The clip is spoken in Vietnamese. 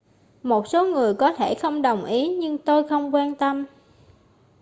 một số người có thể không đồng ý nhưng tôi không quan tâm